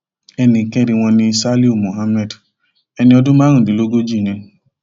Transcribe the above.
ẹnì kẹrin wọn ní saliu muhammed ẹni ọdún márùndínlógójì ni